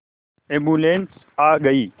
ambulance आ गई